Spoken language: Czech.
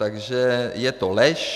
Takže je to lež.